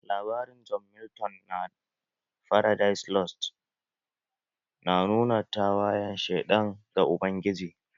Labarin John Milton na 'Faradise lost' na nuna tawayen sheɗan ga ubangiji